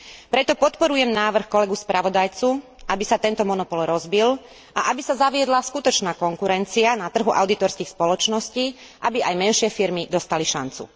Preto podporujem návrh kolegu spravodajcu, aby sa tento monopol rozbil a aby sa zaviedla skutočná konkurencia na trhu audítorských spoločností, aby aj menšie firmy dostali šancu.